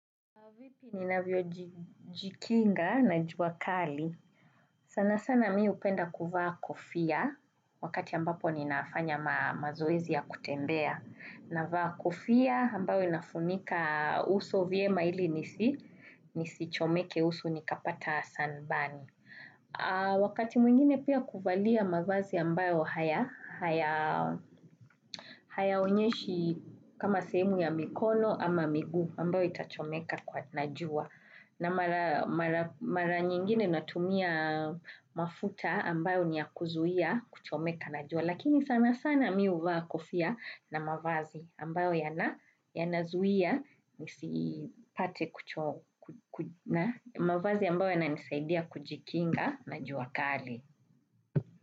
Vipi ninavyo jikinga na juakali. Sana sana mi upenda kuvaa kofia wakati ambapo ninafanya mazoezi ya kutembea. Navaa kofia ambayo inafunika uso vyema ili nisichomeke uso nikapata sanbani. Wakati mwingine pia kuvalia mavazi ambayo hayaonyeshi kama sehemu ya mikono ama migu ambayo itachomeka kwa na jua. Na mara nyingine natumia mafuta ambayo ni ya kuzuia kuchomeka na jua. Lakini sana sana mi uvaa kufia na mavazi ambayo yanazuia na mavazi ambayo yanisaidia kujikinga na jua kali.